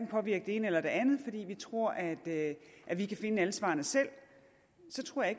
påvirke det ene eller det andet fordi vi tror at at vi kan finde alle svarene selv så tror jeg